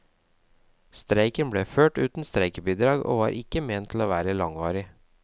Streiken ble ført uten streikebidrag, og var ikke ment å være langvarig.